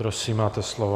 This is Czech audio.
Prosím, máte slovo.